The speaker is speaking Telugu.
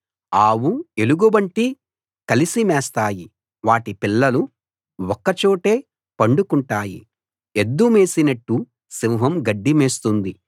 ఆవు ఎలుగుబంటి కలిసి మేస్తాయి వాటి పిల్లలు ఒక్క చోటే పండుకుంటాయి ఎద్దు మేసినట్టు సింహం గడ్డి మేస్తుంది